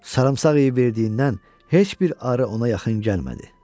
Sarımsaq yeyə verdiyindən heç bir arı ona yaxın gəlmədi.